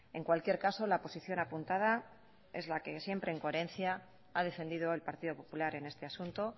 en cualquier caso la posición apuntada es la que siempre en coherencia ha defendido el partido popular en este asunto